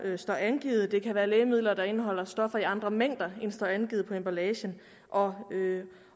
der står angivet det kan være lægemidler der indeholder stoffer i andre mængder der står angivet på emballagen og